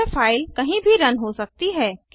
यह फ़ाइल कहीं भी रन हो सकती है